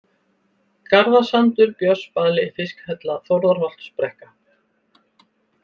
Garðasandur, Björnsbali, Fiskhella, Þórðarholtsbrekka